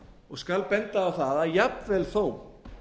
og skal benda á það að jafnvel þó